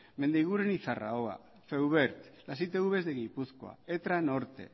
mendiguren y zarraua feuvert las itvs de gipuzkoa etra norte